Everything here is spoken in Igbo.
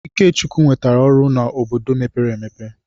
Ikechukwu nwetara ọrụ n'obodo mepere emepe.